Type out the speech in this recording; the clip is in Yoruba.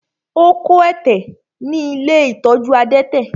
Ó kó ẹ̀tẹ̀ ní ilé ìtọ́jú adẹ́tẹ̀.